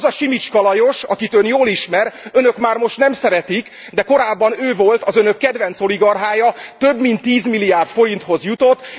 Az a Simicska Lajos, akit Ön jól ismer, Önök már most nem szeretik, de korábban ő volt az Önök kedvenc oligarchája, több mint 10 milliárd forinthoz jutott.